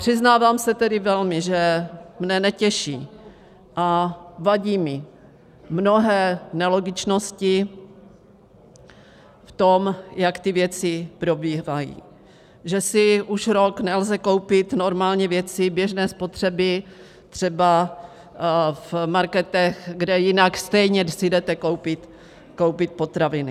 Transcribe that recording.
Přiznávám se tedy velmi, že mne netěší a vadí mi mnohé nelogičnosti v tom, jak ty věci probíhají, že si už rok nelze koupit normálně věci běžné spotřeby třeba v marketech, kde jinak stejně si jdete koupit potraviny.